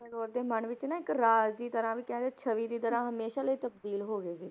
ਟੈਗੋਰ ਦੇ ਮਨ ਵਿੱਚ ਨਾ ਇੱਕ ਰਾਜ ਦੀ ਤਰ੍ਹਾਂ ਵੀ ਕਹਿੰਦੇ ਛਵੀ ਦੀ ਤਰ੍ਹਾਂ ਹਮੇਸ਼ਾ ਲਈ ਤਬਦੀਲ ਹੋ ਗਏ ਸੀ,